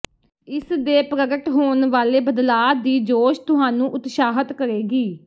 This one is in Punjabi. ਇਸ ਦੇ ਪ੍ਰਗਟ ਹੋਣ ਵਾਲੇ ਬਦਲਾਅ ਦੀ ਜੋਸ਼ ਤੁਹਾਨੂੰ ਉਤਸ਼ਾਹਤ ਕਰੇਗੀ